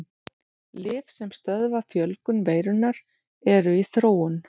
Lyf sem stöðva fjölgun veirunnar eru í þróun.